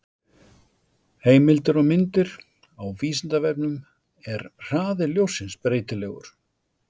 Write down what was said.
Heimildir og myndir: Á Vísindavefnum: Er hraði ljóssins breytilegur?